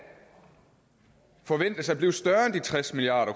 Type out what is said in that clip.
forventes at blive større end de tres milliard